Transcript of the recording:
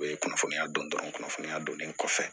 U ye kunnafoniya dɔn dɔrɔn kunnafoniya donnen kɔfɛ